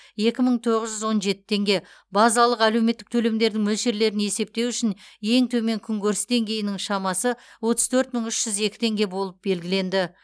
екі мың тоғыз жүз он жеті теңге базалық әлеуметтік төлемдердің мөлшерлерін есептеу үшін ең төмен күнкөріс деңгейінің шамасы отыз төрт мың үш жүз екі теңге болып белгіленді